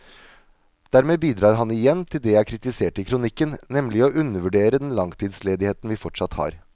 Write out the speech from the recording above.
Dermed bidrar han igjen til det jeg kritiserte i kronikken, nemlig å undervurdere den langtidsledigheten vi fortsatt har.